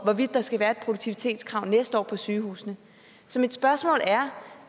hvorvidt der skal være et produktivitetskrav næste år på sygehusene så mit spørgsmål er